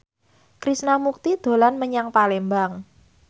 Krishna Mukti dolan menyang Palembang